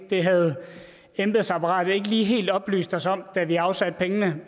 det havde embedsapparatet ikke lige helt oplyst os om da vi afsatte pengene